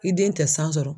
I den tɛ san sɔrɔ